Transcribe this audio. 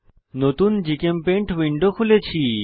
নতুন GChemPaint window খুলেছি